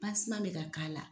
bɛ ka k'a la.